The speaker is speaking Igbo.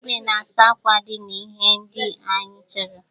Igwe na-asa akwa dị na ihe ndị anyị chọrọ.